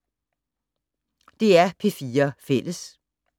DR P4 Fælles